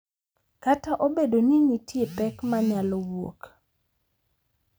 Kata obedo ni nitie pek ma nyalo wuok.